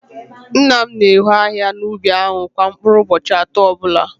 Nna m na-eho ahihia n’ubi ahụ kwa mkpụrụ ụbọchị atọ ọbụla